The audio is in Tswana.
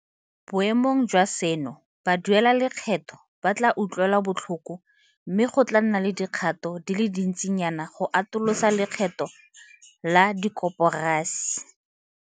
Boemong jwa seno, baduelalekgetho ba tla utlwelwa botlhoko mme go tla nna le dikgato di le dintsinyana go atolosa lekgetho la dikoporasi.